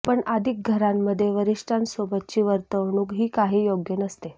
पण अधिक घरांमध्ये वरिष्ठांसोबतची वर्तवणूक ही काही योग्य नसते